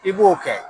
I b'o kɛ